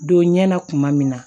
Don ɲɛ na kuma min na